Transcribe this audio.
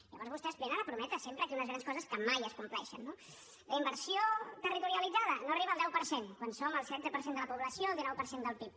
llavors vostès venen a prometre sempre aquí unes grans coses que mai es compleixen no la inversió territorialitzada no arriba al deu per cent quan som el setze per cent de la població el dinou per cent del pib